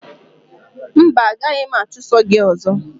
Mba, a gaghị m achụso gị ọzọ